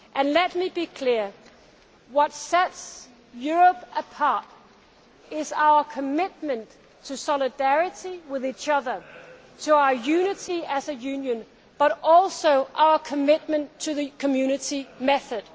Let me be clear, what sets Europe apart is our commitment to solidarity with each other, to our unity as a union, but also to our commitment to the Community method.